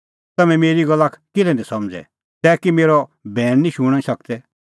तम्हैं मेरी गल्ला किल्है निं समझ़दै तै कि मेरअ बैण निं शूणीं सकदै